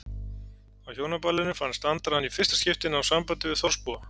Á Hjónaballinu fannst Andra hann í fyrsta skipti ná sambandi við þorpsbúa.